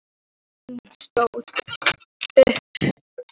Hún stóð andartak fyrir framan Dóru í þöglu ráðleysi.